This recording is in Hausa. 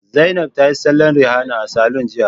Zainab ta yi salon Rihana a saloon jiya